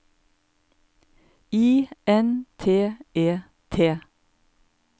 I N T E T